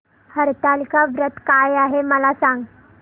हरतालिका व्रत काय आहे मला सांग